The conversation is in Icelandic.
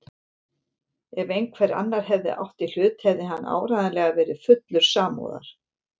Ef einhver annar hefði átt í hlut hefði hann áreiðanlega verið fullur samúðar.